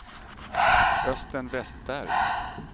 Östen Vestberg